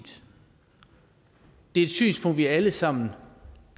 det er et synspunkt vi alle sammen